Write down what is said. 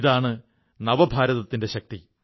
ഇതാണ് നവഭാരതത്തിന്റെ ശക്തി